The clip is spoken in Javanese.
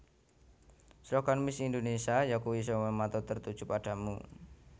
Slogan Miss Indonésia yakuwi Semua Mata Tertuju Padamu